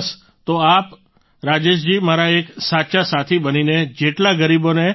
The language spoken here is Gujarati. બસ તો આપ આપ રાજેશજી મારા એક સાચા સાથી બનીને જેટલા ગરીબોને